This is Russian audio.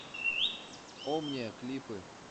омниа клипы